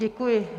Děkuji.